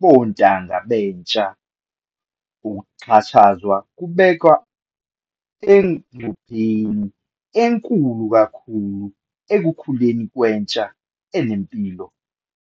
bontanga bentsha, ukuxhashazwa kubeka engcupheni enkulu kakhulu ekukhuleni kwentsha enempilo.